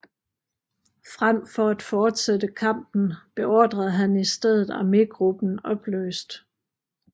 Frem for at fortsætte kampen beordrede han i stedet armégruppen opløst